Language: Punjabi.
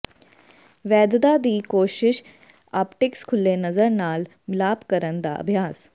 ਵੈਧਤਾ ਦੀ ਕੋਿਸ਼ਸ਼ ਆਪਟਿਕਸ ਖੁੱਲ੍ਹੇ ਨਜ਼ਰ ਨਾਲ ਮਿਲਾਪ ਕਰਨ ਦਾ ਅਭਿਆਸ